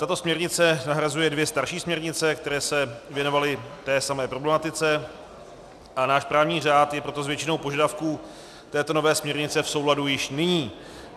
Tato směrnice nahrazuje dvě starší směrnice, které se věnovaly té samé problematice, a náš právní řád je proto s většinou požadavků této nové směrnice v souladu již nyní.